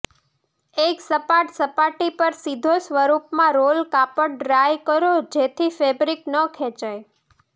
એક સપાટ સપાટી પર સીધો સ્વરૂપમાં રોલ કાપડ ડ્રાય કરો જેથી ફેબ્રિક ન ખેંચાય